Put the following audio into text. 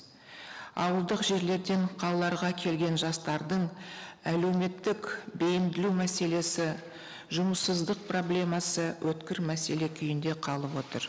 ауылдық жерлерден қалаларға келген жастардың әлеуметтік бейімділеу мәселесі жұмыссыздық проблемасы өткір мәселе күйінде қалып отыр